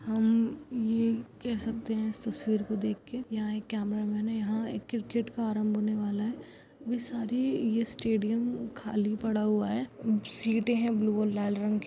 हम ये कह सकते है ये तस्वीर देख के यहाँ पर एक कैमरामैन है यहाँ क्रिकेट का आरंभ होने वाला है वे सारी स्टेडियम खाली पड़ा हुआ है सीटे है ब्लू और लाल रंग की।